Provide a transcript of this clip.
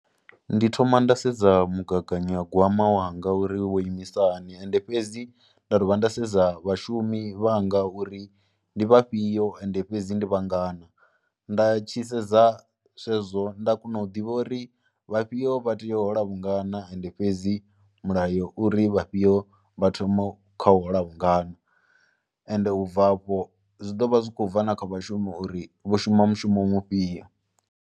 Ndi thoma nda sedza mugaganyagwama wanga uri wo imisa hani, ende fhedzi nda dovha nda sedza vhashumi vhanga uri ndi vhafhio, ende fhedzi ndi vhangana. Nda tshi sedza zwezwo nda kona u ḓivha uri vhafhio vha tea u hola vhungana, ende fhedzi mulayo uri vhafhio vha thoma kha u hola vhungana ende u bva afho zwi ḓo vha zwi khou bva na kha vhashumi uri vho shuma mushumo mufhio.